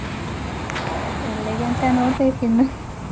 ಎಲ್ಲಿಗಂತ ನೋಡ್ಬೇಕಿನ್ನು.